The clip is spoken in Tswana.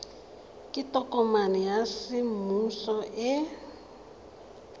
ke tokomane ya semmuso e